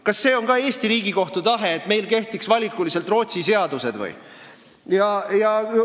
Kas see on ka Eesti Riigikohtu tahe, et meil kehtiks valikuliselt Rootsi seadused?